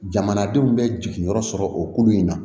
Jamanadenw bɛ jiginyɔrɔ sɔrɔ o kulu in na